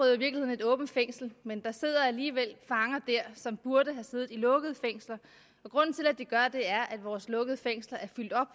et åbent fængsel men der sidder alligevel fanger der som burde have siddet i lukkede fængsler og grunden til at de gør det er at vores lukkede fængsler er fyldt op